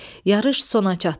Yarış sona çatdı.